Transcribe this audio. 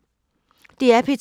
DR P2